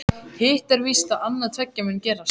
Hitt er víst að annað tveggja mun gerast.